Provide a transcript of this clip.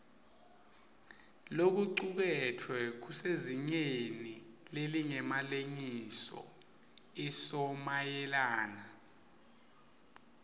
lokucuketfwe kusezingeni lelingemalengisoisomayelana